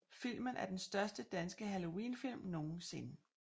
Filmen er den første danske halloween film nogensinde